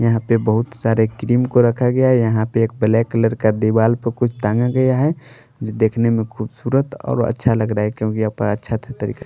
यहां पे बहुत सारे क्रीम को रखा गया है यहां पे एक ब्लैक कलर का दीवार पर कुछ तांगा गया है जो देखने में खूबसूरत और अच्छा लग रहा है क्योंकि अच्छा तरीका --